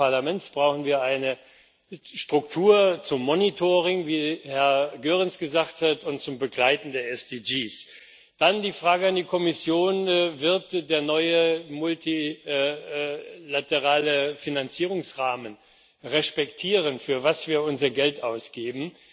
Auch im Parlament brauchen wir eine Struktur für das Monitoring, wie Herr Goerens gesagt hat, und für das Begleiten der SDG. Dann die Frage an die Kommission Wird der neue multilaterale Finanzierungsrahmen respektieren, für was wir unser Geld ausgeben?